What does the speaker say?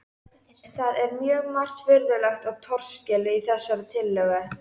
Það er margt mjög furðulegt og torskilið í þessari tillögu.